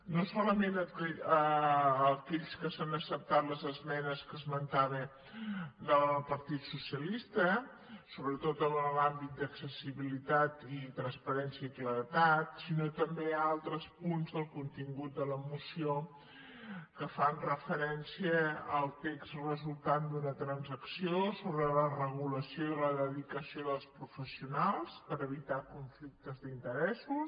no solament aquells en què s’han acceptat les esmenes que esmentava del partit socialista sobretot en l’àmbit d’accessibilitat i transparència i claredat sinó també altres punts del contingut de la moció que fan referència al text resultant d’una transacció sobre la regulació de la dedicació dels professionals per evitar conflictes d’interessos